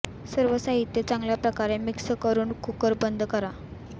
सर्व साहित्य चांगल्या प्रकारे मिक्स करून कुकर बंद करा